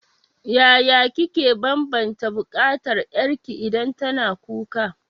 Yaya kike banbanta bukatar ƴarki idan tana kuka?